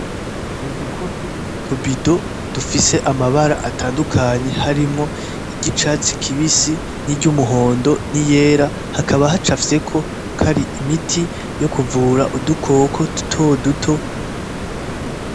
Udukopo n'utu bido dufise amabara atandukanye harimwo iry'icatsi kibisi n'umuhondo n'iyera hakaba hacafyeko ari imiti yo kuvura udukoko dutoduto.